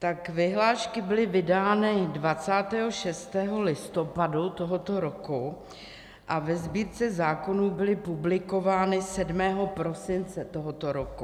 Tak vyhlášky byly vydány 26. listopadu tohoto roku a ve Sbírce zákonů byly publikovány 7. prosince tohoto roku.